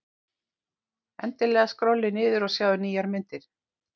Endilega skrollið niður og sjáið nýjar myndir.